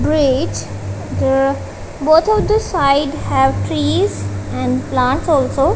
great the both of the side have trees and plants also.